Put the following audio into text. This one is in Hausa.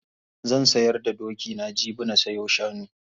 Zan sayar da dokina jibi na sayo shanu.